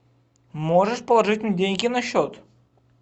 можешь положить мне деньги на счет